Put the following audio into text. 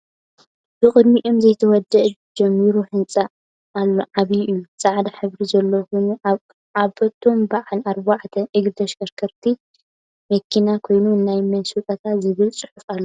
ብቅዲምኣ ዘይተወደአ ጅምሩ ህንፃ ኣሎ ዓብይ እዩ ። ፃዕዳ ሕበሪ ዘለዎ ኮይና ዓብቶም ብዓል ኣርባዕተ እግሪ ተሽከርካሪት መኪና ኮይና ናይ መን ስጦታ ዝብል ፅሑፍ ኣለዎ?